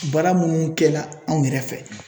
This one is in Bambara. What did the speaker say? Baara minnu kɛ la anw yɛrɛ fɛ.